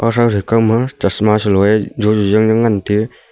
kawma chasma saloe jojo jang jang ngan te.